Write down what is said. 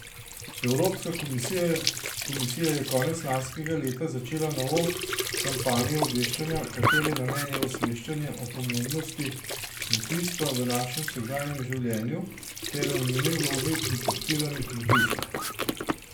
Evropska komisija je konec lanskega leta začela novo kampanjo obveščanja, katere namen je osveščanje o pomembnosti kmetijstva v našem vsakdanjem življenju ter o njeni vlogi pri podpiranju kmetijstva.